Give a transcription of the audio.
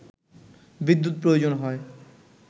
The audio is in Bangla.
বিদ্যুৎ প্রয়োজন হয়